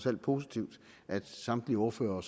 alt positivt at samtlige ordførere og